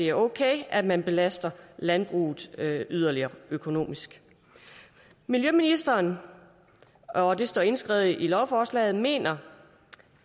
er okay at man belaster landbruget yderligere økonomisk miljøministeren og det står indskrevet i lovforslaget mener